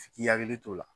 F'i k'i hakili t'o la